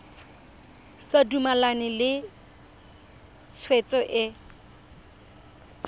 sa dumalane le tshwetso e